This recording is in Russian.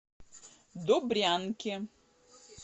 добрянке